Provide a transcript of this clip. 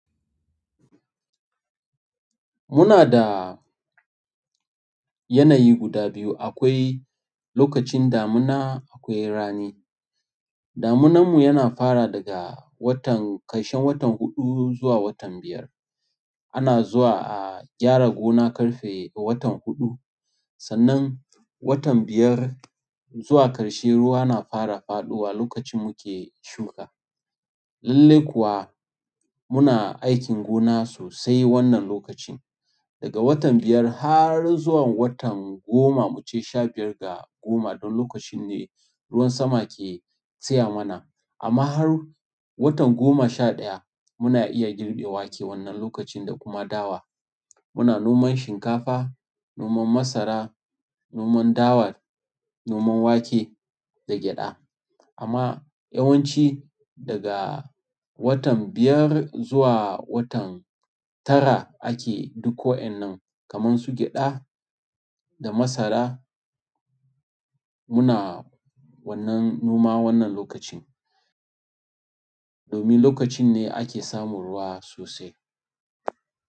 Muna da yanayi guda biyu. Akwai lokacin damuna, akwai rani. Damunanmu yana fara daga watan-- ƙarshen watan huɗu zuwa watan biyar. Ana zuwa a gyara gona ƙarfe a watan huɗu. Sannan watan biyar zuwa ƙarshe, ruwa na fara faɗowa lokacin muke shuka. Lallai kuwa muna aikin gona sosai wannan lokacin. Daga watan biyar har zuwan watan goma mu ce sha biyar ga goma don lokacin ne ruwan sama ke tsaya mana. Amma har watan goma sha ɗaya muna iya girbe wake wannan lokacin da kuma dawa. Muna noman shinkafa, noman masara, noman dawa, noman wake da gyaɗa. Amma yawanci daga watan biyar zuwa watan tara ake duk wa'yannan kamar su gyaɗa da masara muna wannan noma wannan lokacin. Domin lokacin ne ake samun ruwa sosai.